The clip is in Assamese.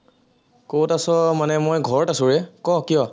কত আছ মানে মই ঘৰত আছো ৰে, ক কিয়?